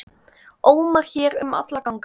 ómar hér um alla ganga.